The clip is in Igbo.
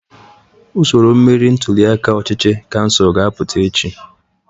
Usoro mmeri ntuliaka ọchịchị kansụl ka apụta echi.